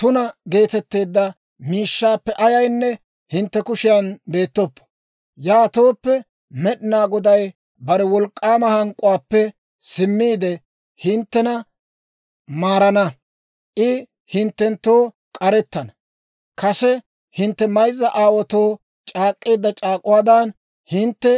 Tuna geetetteedda miishshaappe ayaynne hintte kushiyan beettoppo. Yaatooppe, Med'inaa Goday bare wolk'k'aama hank'k'uwaappe simmiide, hinttena maarana; I hinttenttoo k'arettana. Kase hintte mayzza aawaatoo c'aak'k'eedda c'aak'uwaadan, hintte